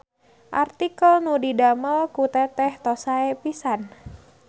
Artikel nu didamel ku teteh tos sae pisan.